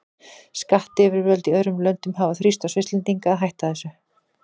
Skattyfirvöld í öðrum löndum hafa þrýst á Svisslendinga að hætta þessu.